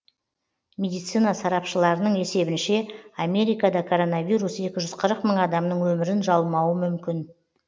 медицина сарапшыларының есебінше америкада коронавирус екі жүз қырық мың адамның өмірін жалмауы мүмкін